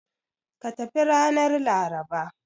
Ka tafi ranar Laraba!